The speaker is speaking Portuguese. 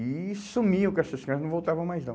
E sumiam com essas crianças, não voltavam mais não.